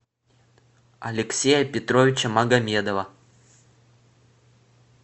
алексея петровича магомедова